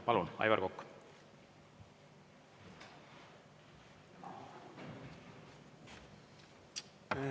Palun, Aivar Kokk!